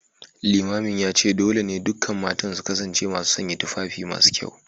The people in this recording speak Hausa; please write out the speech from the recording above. Limamin ya ce dole ne dukkan matan su kasance masu sanya tufafi masu kyau